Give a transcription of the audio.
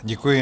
Děkuji.